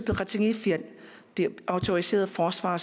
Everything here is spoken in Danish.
autoriserede forsvarere